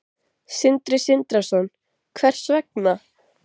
Sindri Sindrason: Hvers vegna?